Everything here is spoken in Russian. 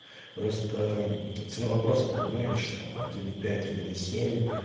просто мм цена вопроса понимаешь там один и пять один и семь